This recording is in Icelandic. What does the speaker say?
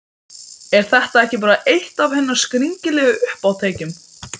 Er þetta ekki bara eitt af hennar skringilegu uppátækjum?